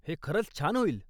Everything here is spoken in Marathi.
हे खरंच छान होईल.